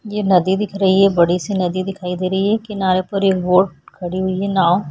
ये नदी दिख रही है बड़ी सी नदी दिखाई दे रही है किनारे पर एक बोट खड़ी हुई हैं नांव --